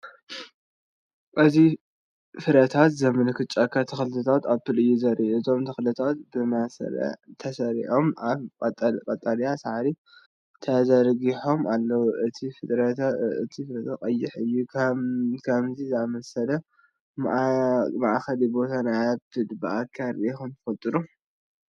እዚ ፍረታት ዝመልአ ጫካ ተክልታት ኣፕል እዩ ዘርኢ። እቶም ተክልታት ብመስርዕ ተሰሪዖም ኣብ ቀጠልያ ሳዕሪ ተዘርጊሖም ኣለዉ። እቲ ፍረታት ቀይሕ እዩ። ከምዚ ዝኣመሰለ መትከሊ ቦታ ናይ ኣፕል ብኣካል ርኢኹም ትፈልጡ ዶ?